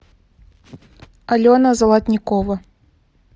алена золотникова